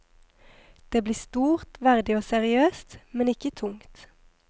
Det blir stort, verdig og seriøst, men ikke tungt.